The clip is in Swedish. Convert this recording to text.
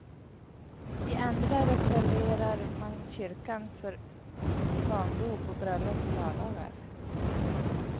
I andra reserverar man kyrkan för barndop och bröllop på lördagar.